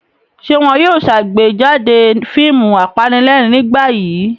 Ṣé wọn yóò ṣàgbéjáde fíìmù apanílẹ̀rín nígbà yìí?